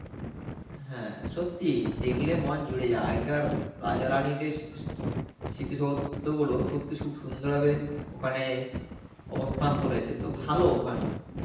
হ্যাঁ, সত্যি, দেখলে মন জুড়ে যায়. আগেকার রাজা রানীদের সি সি~ স্মৃতি সৌধগুলো সত্যি খুব সুন্দর হবে, ওখানে অবস্থান করেছে তো ভালো ওখানে.